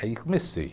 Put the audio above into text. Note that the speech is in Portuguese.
Aí comecei.